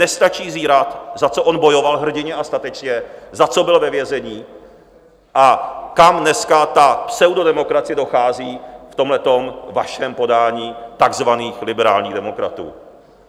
Nestačí zírat, za co on bojoval hrdinně a statečně, za co byl ve vězení a kam dneska ta pseudodemokracie dochází v tomhle vašem podání takzvaných liberálních demokratů.